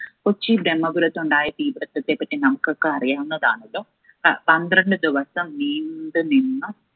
കൊച്ചി ബ്രഹ്മപുരത്തുണ്ടായ തീപിടുത്തത്തെപ്പറ്റി നമുക്കൊക്കെ അറിയാവുന്നതാണല്ലോ. അഹ് പന്ത്രണ്ടു ദിവസം നീണ്ടുനിന്ന